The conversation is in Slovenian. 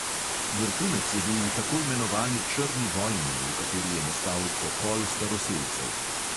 Vrhunec je bil v tako imenovani črni vojni, v kateri je nastal pokol staroselcev.